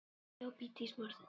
Kom á óvart.